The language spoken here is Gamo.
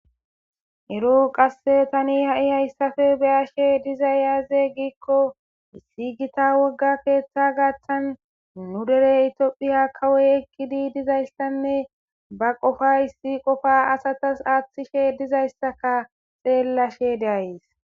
Ero Tani ha'i haysappe neyashe dizay aaze giikon issi gita keetha gaathan nu Deere tophiya kawoy eqidi dizaysanne ba qopa issi qopa asatas aathishe dizaysanne xeelashe days